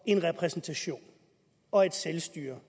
en repræsentation og et selvstyre